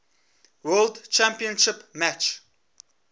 world championship match